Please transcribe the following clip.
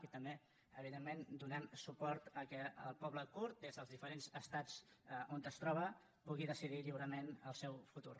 i també evidentment donem suport que el poble kurd des dels diferents estats on es troba pugui decidir lliurement el seu futur